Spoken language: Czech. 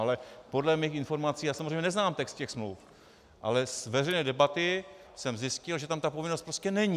Ale podle mých informací - já samozřejmě neznám text těch smluv, ale z veřejné debaty jsem zjistil, že tam ta povinnost prostě není.